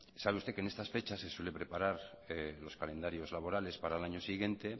sabe usted que en estas fechas se suele preparar los calendarios laborales para el año siguiente